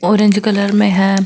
Orange colour में है।